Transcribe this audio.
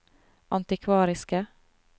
antikvariske